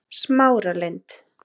Smáralind